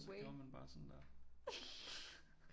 Så gjorde man bare sådan der